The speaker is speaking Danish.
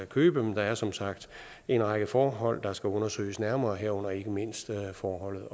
købe men der er som sagt en række forhold der skal undersøges nærmere herunder ikke mindst forholdene